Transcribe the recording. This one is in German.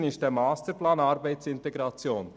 Unsere These ist der Masterplan Arbeitsintegration.